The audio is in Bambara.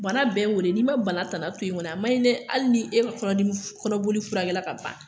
Bana bɛɛ y'o de ye, n'i ma bana tana to yen kɔni a man ɲi dɛ. Hali ni e ka kɔnɔboli furakɛla ka ban.